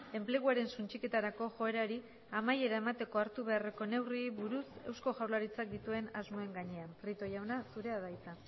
enpleguaren suntsiketarako joerari amaiera emateko hartu beharreko neurriei buruz eusko jaurlaritzak dituen asmoen gainean prieto jauna zurea da hitza